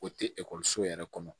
O tɛ ekɔliso yɛrɛ kɔnɔ